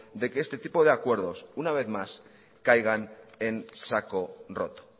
de que este tipo de acuerdos una vez más caiga en saco roto